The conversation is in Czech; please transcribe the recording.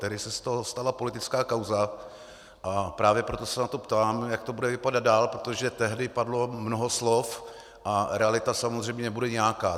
Tehdy se z toho stala politická kauza, a právě proto se na to ptám, jak to bude vypadat dál, protože tehdy padlo mnoho slov a realita samozřejmě bude nějaká.